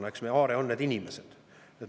Eks meie aare ole inimesed.